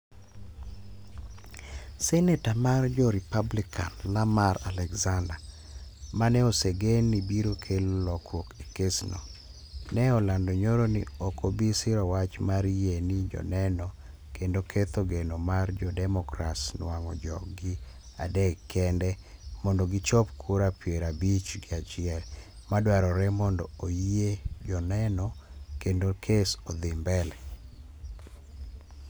Seneta mar jo republican Lamar Alexander, maneosegen ni biro kelo lokruok e kes no, ne olando nyoro ni oko bi siro wach mar yie ni joneno kendo ketho geno mar jo democrats nuang'o jog gi adek kende mondo gichop kura piero abich gi achiel madwarore mondo oyie joneno kendo kes odhi mbele